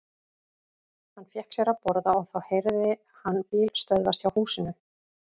Hann fékk sér að borða og þá heyrði hann bíl stöðvast hjá húsinu.